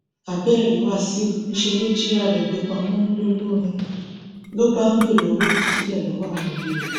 abẹẹ rí wàṣíù níṣẹ ló jìra rẹ gbé pamọ ńlọrọrìn ló bá ń béèrè owó ìtúsílẹ lọwọ òbí ẹ